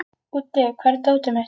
Úddi, hvar er dótið mitt?